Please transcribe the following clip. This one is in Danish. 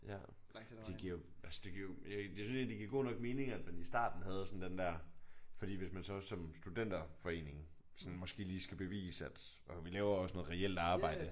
Ja. Det giver jo altså det giver jo altså jeg synes egentlig at det giver god nok mening at man i starten havde sådan den der fordi hvis man så som studenterforening sådan måske lige skal bevise at vi laver også noget reelt arbejde